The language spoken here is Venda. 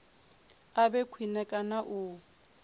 a vhe khwine kana u